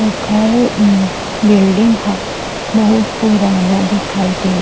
ओखर अम्म बिल्डिंग ह बहुत पुराना दिखाई देत हे।